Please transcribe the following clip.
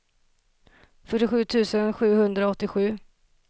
fyrtiosju tusen sjuhundraåttiosju